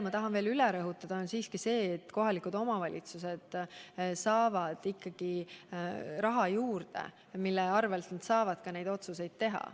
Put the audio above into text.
Ma tahan siiski veel kord üle rõhutada, et kohalikud omavalitsused saavad ikkagi raha juurde, mille varal neid otsuseid teha.